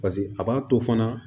Paseke a b'a to fana